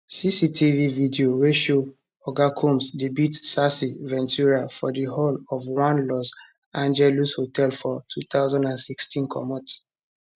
cctv video wey show oga combs dey beat cassie ventura for di hall of one los angeles hotel for 2016 comot